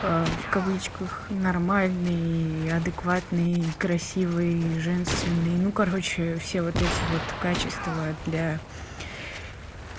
в кавычках нормальный адекватный красивый женственный ну короче все вот эти вот качества для